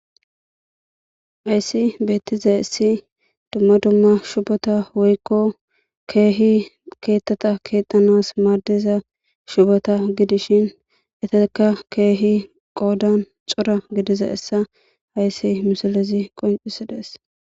Hayis betizays duma duma shupota woyiko kehi kethata kethanas madesza shupota gidishin etika kehi qodan coora gididaysa haysan silezi qoncises